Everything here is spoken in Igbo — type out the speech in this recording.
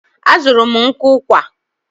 A zụrụ m nkụ ụkwà.